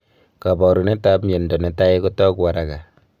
kaparunet ap mianda netai kotogu araga